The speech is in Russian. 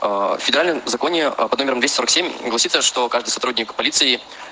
федеральном законе под номером двести сорок семь гласится что каждый сотрудник полиции